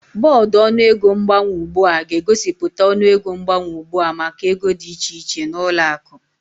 Bọọdụ ọnụego mgbanwe ugbu a ga-egosipụta ọnụego mgbanwe ugbu a maka ego dị iche iche na ụlọ akụ